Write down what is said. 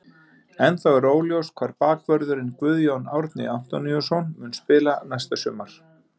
Ennþá er óljóst hvar bakvörðurinn Guðjón Árni Antoníusson mun spila næsta sumar.